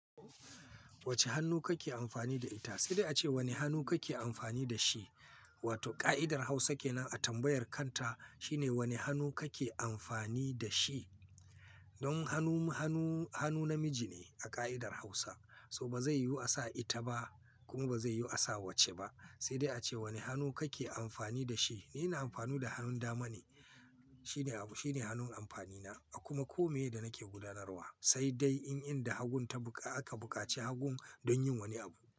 Wace hannu kake amfani da ita? Sai dai ace wane hannu kake amfani da shi? Wato ka'idar Hausa kenan a tambayar kanta shine wane hannu kake amfani da shi? Don hannu, hannu, hannu namiji ne a ka'idar Hausa, so ba zai yiwu a sa ita ba kuma ba zai yiwu a sa wacce ba. Sai dai ace wane hannu kake amfani da shi? Ni ina amfani da hannun dama ne. Shi ne, shi ne hannun amfani na a kuma kome da nake gudanarwa. Sai dai in, in da hagun ta buka, aka bukaci hagun don yin wani abu.